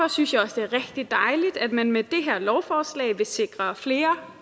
synes jeg også det er rigtig dejligt at man med det her lovforslag vil sikre flere